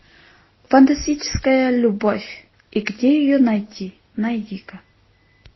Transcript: фантастическая любовь и где ее найти найди ка